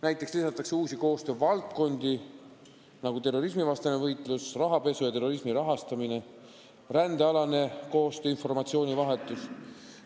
Näiteks lisatakse uusi koostöövaldkondi, nagu terrorismivastane võitlus, võitlus rahapesu ja terrorismi rahastamisega, rändealane koostöö ja informatsioonivahetus.